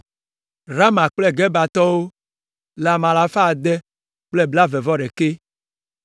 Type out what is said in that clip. Rama kple Gebatɔwo le ame alafa ade kple blaeve-vɔ-ɖekɛ (621).